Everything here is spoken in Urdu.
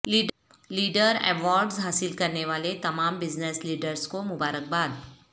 لیڈر ایوارڈس حاصل کرنے والے تمام بزنس لیڈرس کو مبارکباد